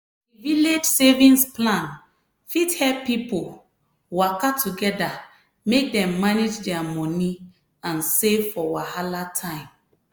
di village savings plan fit help pipo waka together make dem manage dia money and save for wahala time.